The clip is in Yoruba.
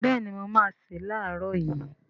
Béèni mo máá se lààrọ̀ yii